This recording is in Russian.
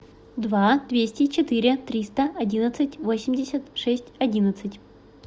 два двести четыре триста одиннадцать восемьдесят шесть одиннадцать